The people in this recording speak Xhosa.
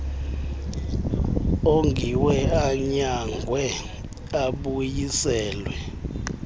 ongiwe anyangwe abuyiselwe